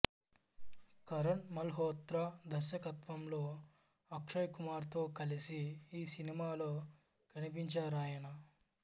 కరణ్ మల్హోత్రా దర్శకత్వంలోఅక్షయ్ కుమార్తో కలసి ఈ సినిమాలో కనిపించారాయన